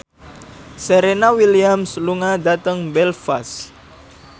Serena Williams lunga dhateng Belfast